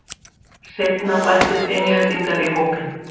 Seinna bættust Englendingar í hópinn.